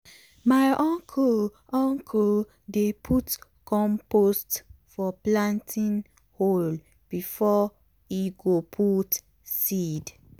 my uncle uncle dey put compost for planting hole before e go put seed.